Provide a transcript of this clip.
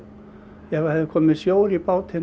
ef hefði komið sjór í bátinn